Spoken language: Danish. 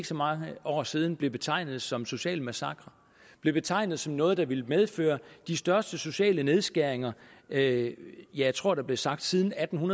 så mange år siden blev betegnet som en social massakre blev betegnet som noget der ville medføre de største sociale nedskæringer ja jeg tror der blev sagt siden atten